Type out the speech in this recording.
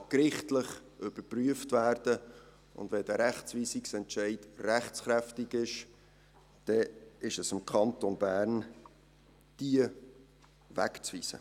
Dieser Wegweisungsentscheid kann gerichtlich überprüft werden, und wenn er rechtskräftig ist, dann ist es am Kanton Bern, diese Leute wegzuweisen.